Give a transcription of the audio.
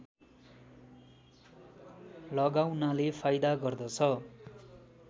लगाउनाले फाइदा गर्दछ